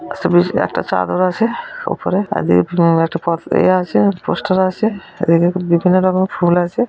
একশোবিশ একটা চাদর আছে উপরে আর এদিকে উম একটা এ আছে পোস্টার আছে এদিকে বিভিন্ন রকমের ফুল আছে।